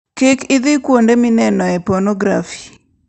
Kik idhi kuonde minenoe ponografi.